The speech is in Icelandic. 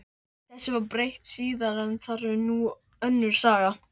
Þessu var breytt síðar en það er nú önnur saga.